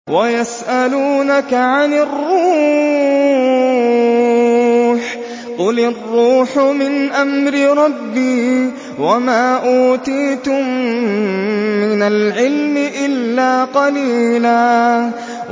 وَيَسْأَلُونَكَ عَنِ الرُّوحِ ۖ قُلِ الرُّوحُ مِنْ أَمْرِ رَبِّي وَمَا أُوتِيتُم مِّنَ الْعِلْمِ إِلَّا قَلِيلًا